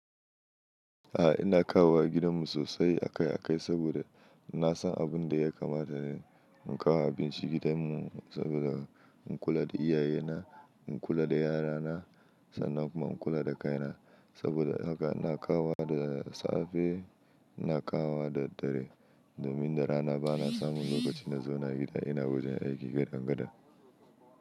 A'a ina kawowa gidanmu sosai akai akai saboda na san abin da ya kamata ni in kawo abinci gidanmu saboda in kula da iyaye na, in kula da yara na sannan kuma in kula da kai na. Saboda haka na kawowa da safe, na kawowa da dare domin da rana bana samun lokaci na zauna gida ina wajen aiki gada gada.